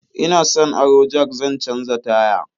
Ina son aron jak zan canja taya.